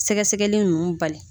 Sɛgɛsɛgɛli ninnu bali